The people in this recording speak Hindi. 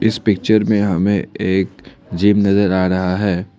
इस पिक्चर में हमें एक जिम नजर आ रहा है।